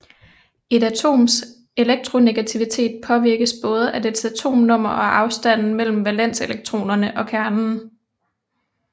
Et atoms elektronegativitet påvirkes både af dets atomnummer og afstanden mellem valenselektronerne og kernen